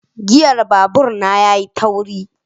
giyan babur na yayi tauri.